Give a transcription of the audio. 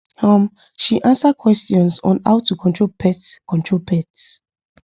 um she answer questions on how to control pest control pest